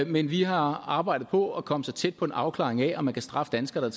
men vi har arbejdet på at komme tæt tæt på en afklaring af om man kan straffe danskere